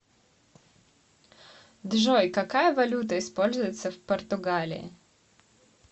джой какая валюта используется в португалии